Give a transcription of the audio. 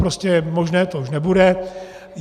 Prostě to už možné nebude.